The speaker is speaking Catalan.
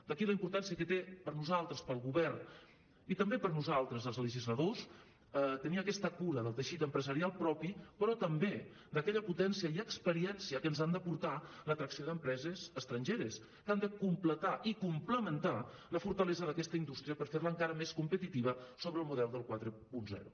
d’aquí la importància que té per nosaltres pel govern i també per nosaltres els legisladors tenir aquesta cura del teixit empresarial propi però també d’aquella potència i experiència que ens han de portar l’atracció d’empreses estrangeres que han de completar i complementar la fortalesa d’aquesta indústria per fer la encara més competitiva sobre el model del quaranta